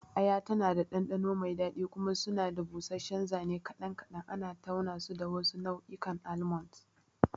Aya tana da ɗanɗano mai daɗi, kuma suna da busasshen zane kaɗan kaɗan, ana taunasu da wasu nau'ikan almonds.